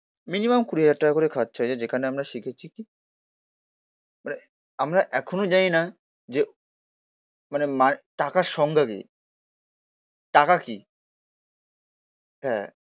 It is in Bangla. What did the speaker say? মিনিমাম কুড়ি হাজার টাকা করে খরচা হয়েছে যেখানে আমরা শিখেছি কি? মানে আমরা এখনো জানি না যে মানে টাকার সংজ্ঞা কি। টাকা কি। হ্যা